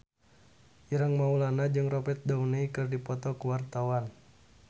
Ireng Maulana jeung Robert Downey keur dipoto ku wartawan